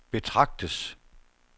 betragtes